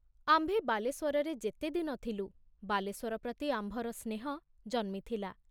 ଆମ୍ଭେ ବାଲେଶ୍ଵରରେ ଯେତେଦିନ ଥିଲୁ ବାଲେଶ୍ଵର ପ୍ରତି ଆମ୍ଭର ସ୍ନେହ ଜନ୍ମିଥିଲା।